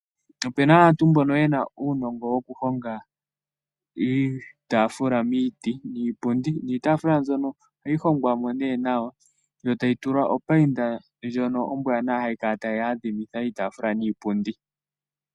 Opu na aantu mbono ye na uunongo wokuhonga iitafula miiti niipundi. Niitaafula mbyono ohayi hongwa mo nee nawa yo tayi tulwa opainda ndjono ombwaanawa hayi kala tayi adhimitha iitafula niipundi.